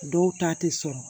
Dɔw ta tɛ sɔrɔ